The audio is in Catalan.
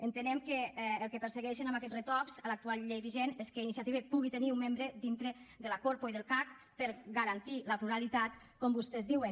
entenem que el que persegueixen amb aquests retocs a l’actual llei vigent és que iniciativa pugui tenir un membre dintre de la corpo i del cac per garantir la pluralitat com vostès diuen